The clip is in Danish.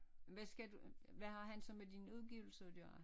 Hvad skal du hvad har han så med din udgivelse at gøre?